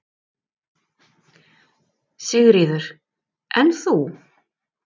Sigríður: En þú?